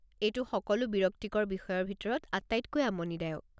এইটো সকলো বিৰক্তিকৰ বিষয়ৰ ভিতৰত আটাইতকৈ আমনিদায়ক।